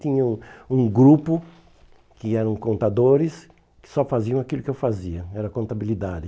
Tinha um grupo que eram contadores, que só faziam aquilo que eu fazia, era contabilidade.